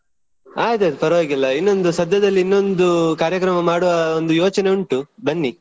ಆಯ್ತ್ ಆಯ್ತ್ ಪರ್ವಾಗಿಲ್ಲ ಇನ್ನೊಂದು ಸದ್ಯದಲ್ಲಿ ಇನ್ನೊಂದು ಕಾರ್ಯಕ್ರಮ ಮಾಡುವ ಒಂದು ಯೋಚನೆ ಉಂಟು ಬನ್ನಿ.